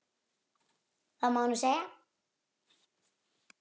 Það má nú segja.